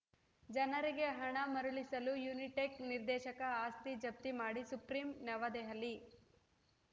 ಜನರಿಗೆ ಹಣ ಮರಳಿಸಲು ಯುನಿಟೆಕ್‌ನ ನಿರ್ದೇಶಕ ಆಸ್ತಿ ಜಪ್ತಿ ಮಾಡಿ ಸುಪ್ರೀಂ ನವದೆಹಲಿ